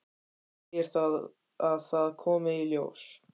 Segir að það komi í ljós.